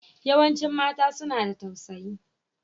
Yawancin mata suna da tausayi.